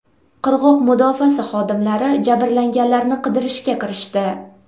Qirg‘oq mudofaasi xodimlari jabrlanganlarni qidirishga kirishdi.